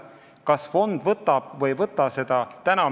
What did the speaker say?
Kas fond seda võtab või ei võta?